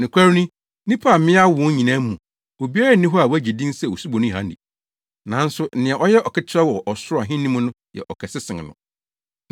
Nokware ni, nnipa a mmea awo wɔn nyinaa mu, obiara nni hɔ a wagye din sɛ Osuboni Yohane. Nanso nea ɔyɛ aketewa koraa wɔ Ɔsoro Ahenni mu no yɛ ɔkɛse sen no!